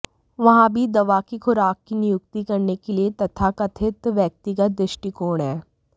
वहाँ भी दवा की खुराक की नियुक्ति करने के लिए तथाकथित व्यक्तिगत दृष्टिकोण है